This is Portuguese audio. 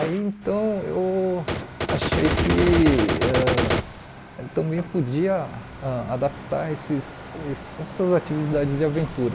Aí então eu achei que ãh também podia ãh adaptar esses esse essas atividades de aventura.